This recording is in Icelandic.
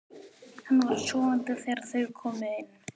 Hann var sofandi þegar þau komu inn.